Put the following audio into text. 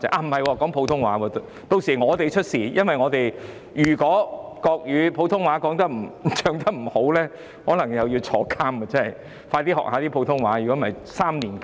不是，國歌是普通話的，屆時是我們出事，因為如果我們普通話唱得不好，可能又要入獄，要快些學習普通話，否則隨時入獄3年。